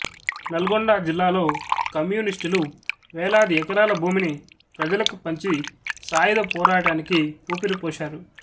నల్గొండ జిల్లాలో కమ్యూనిస్ట్ లు వేలాది ఎకరాల భూమిని ప్రజలకు పంచి సాయుధ పోరాట నికి ఊపిరి పోశారు